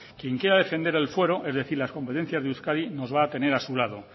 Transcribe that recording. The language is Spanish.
quien quiera defender el fuero es decir las competencias de euskadi nos va a tener a su lado